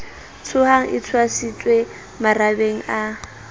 tshohang e tshwasitswe marabeng a